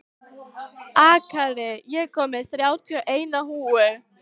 Akira, ég kom með þrjátíu og eina húfur!